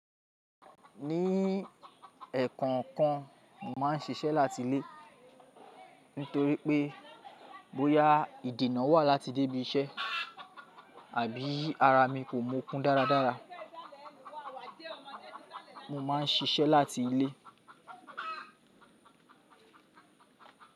Ní ẹ̀ekokan, màá ń ṣiṣẹ́ láti ilé nítorí pé bóyá ìdènà wà láti débí iṣẹ́ àbí ara mi kò mọkún dáradára. Mo máa ń ṣiṣẹ́ láti ilé.